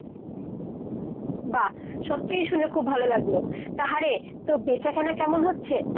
বাহঃ সত্যিই শুনে খুব ভালোলাগলো। তা হ্যাঁ রে তো বেচাকেনা কেমন হচ্ছে ?